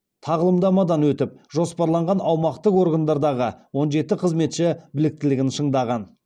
тағылымдамадан өтіп жоспарланған аумақтық органдардағы он жеті қызметші біліктілігін шыңдаған